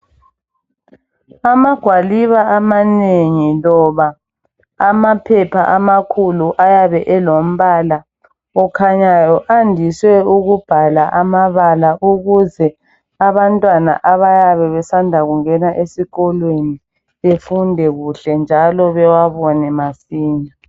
Amagwaliba amanengi loba amaphepha amakhulu ayabe elombala okhanyayo. Ayandiswe ukubhala amabala ukuze abantwana abayabe besanda kungena esikolweni befunde kuhle njalo bewabone masinya.